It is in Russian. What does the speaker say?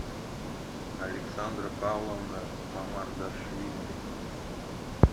александра павловна мамардашвили